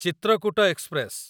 Chitrakoot express